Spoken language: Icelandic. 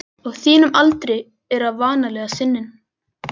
Á þínum aldri er það vanalega sinin.